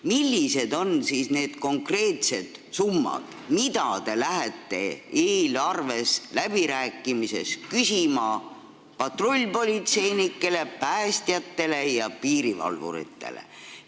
Millised on need konkreetsed summad, mida te lähete eelarveläbirääkimistes küsima patrullpolitseinikele, päästjatele ja piirivalvuritele?